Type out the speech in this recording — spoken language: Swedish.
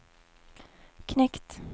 knekt